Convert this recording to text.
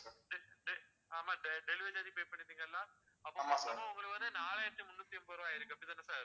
~டெ ஆமா delivery charge பண்ணிருப்பீங்கல்ல, அப்போ ஒரு நாலாயிரத்தி முந்நூத்தி எண்பது ரூபா ஆயிருக்கு அப்படிதானே sir